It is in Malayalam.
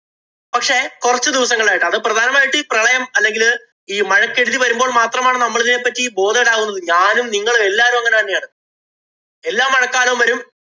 പക്ഷേ, കൊറച്ച് ദിവസങ്ങളായിട്ട് അത് പ്രധാനമായിട്ടും ഈ പ്രളയം അല്ലെങ്കില് ഈ മഴക്കെടുതി വരുമ്പോള്‍ മാത്രമാണ് നമ്മള് ഇതിനെ പറ്റി bothered ആകുന്നത്. ഞാനും, നിങ്ങളും എല്ലാവരും അങ്ങനെ തന്നെയാണ്. എല്ലാ മഴക്കാലവും വരും.